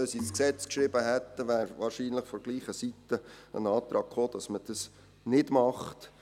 Hätten wir diese Auflage ins Gesetz geschrieben, wäre wohl von derselben Seite ein Antrag gekommen, dies nicht zu tun.